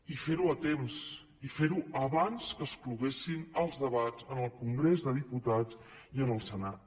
i fer ho a temps i fer ho abans que es cloguessin els debats en el congrés dels diputats i en el senat